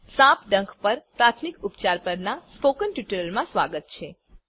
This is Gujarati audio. સાપ ડંખ પર પ્રાથમિક ઉપચાર પરનાં સ્પોકન ટ્યુટોરીયલમાં સ્વાગત છે